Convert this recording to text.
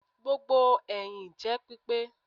Gbogbo ẹhin jẹ pipe